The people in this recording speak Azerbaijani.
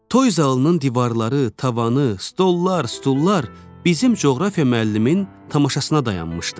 Toy zalının divarları, tavanı, stollar, stullar bizim coğrafiya müəllimin tamaşasına dayanmışdı.